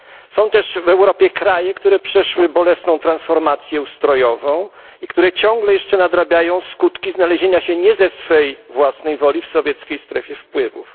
Są też w Europie kraje, które przeszły bolesną transformację ustrojową i które ciągle jeszcze nadrabiają skutki znalezienia się nie ze swej własnej woli w sowieckiej strefie wpływów.